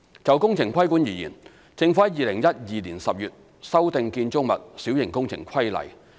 就工程規管而言，政府於2012年10月修訂《建築物規例》。